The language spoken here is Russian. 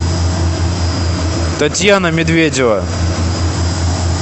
татьяна медведева